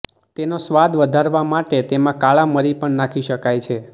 તેનો સ્વાદ વધારવા માટે તેમાં કાળા મરી પણ નાખી શકાય છે